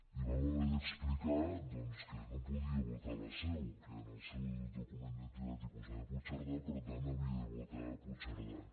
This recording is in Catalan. li vam haver d’explicar doncs que no podia votar a la seu que en el seu document d’identitat hi posava puigcerdà i per tant havia de votar a puigcerdà